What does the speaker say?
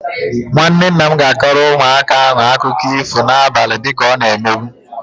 Nwanne nna m ga-akọrọ ụmụaka ahụ akụkọ ifo na-abali dịka ọ na-emebu.